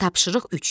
Tapşırıq üç.